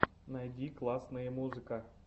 найди классные музыка